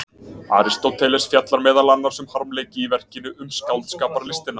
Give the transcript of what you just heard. Aristóteles fjallar meðal annars um harmleiki í verkinu Um skáldskaparlistina.